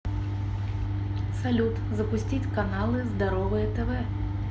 салют запустить каналы здоровое тв